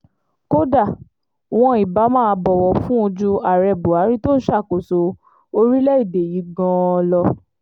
kódà wọn ibà máa bọ̀wọ̀ fún un ju ààrẹ buhari tó ń ṣàkóso orílẹ̀‐èdè yìí gan-an lọ